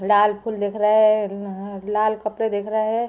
लाल फुल दिख रहे है। लाल कपड़े दिख रहे है।